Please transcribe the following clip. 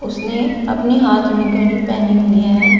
उसने अपने हाथ में घड़ी पहनी हुई है।